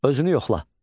Özünü yoxla.